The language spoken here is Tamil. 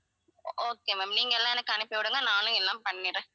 okay ma'am நீங்க எல்லாம் எனக்கு அனுப்பி விடுங்க நானும் எல்லாம் பண்ணிடுறேன்